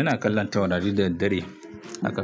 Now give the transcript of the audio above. Ina kallon taurari da daddare. Haka,